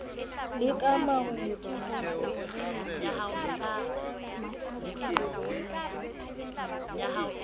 le ka marung ke hosteleng